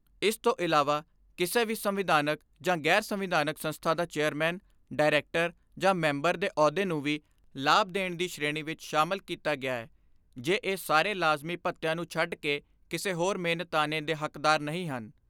ਇਸ ਤੋਂ ਇਲਾਵਾ ਕਿਸੇ ਵੀ ਸੰਵਿਧਾਨਕ ਜਾਂ ਗ਼ੈਰ ਸੰਵਿਧਾਨਕ ਸੰਸਥਾ ਦਾ ਚੇਅਰਮੈਨ, ਡਾਇਰੈਕਟਰ ਜਾ ਮੈਂਬਰ ਦੇ ਅਹੁਦੇ ਨੂੰ ਵੀ ਲਾਭ ਦੀ ਸ਼੍ਰੇਣੀ ਵਿਚ ਸ਼ਾਮਲ ਕੀਤਾ ਗਿਐ ਜੇ ਇਹ ਸਾਰੇ ਲਾਜ਼ਮੀ ਭੱਤਿਆਂ ਨੂੰ ਛੱਡ ਕੇ ਕਿਸੇ ਹੋਰ ਮਿਹਨਤਾਨੇ ਦੇ ਹੱਕਦਾਰ ਨਹੀਂ ਹਨ।